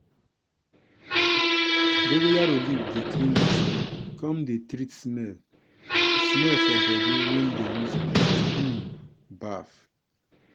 dongoyaro leaf dey clean di skin come dey treat smell smell for body wen dem use am um baff.